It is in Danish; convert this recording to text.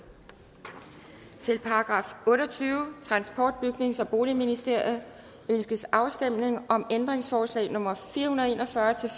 til § otteogtyvende transport bygnings og boligministeriet ønskes afstemning om ændringsforslag nummer fire hundrede og en og fyrre til